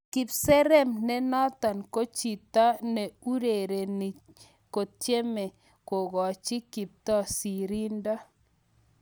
Kipserem nenotok ko chitop ererindo kotcheme kokachi kiptoo sirindo